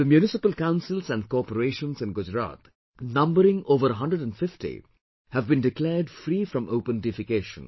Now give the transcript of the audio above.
The Municipal Councils and Corporations in Gujarat, numbering over 150 have been declared free from open defecation